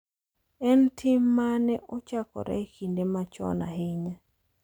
En tim ma ne ochakore e kinde machon ahinya.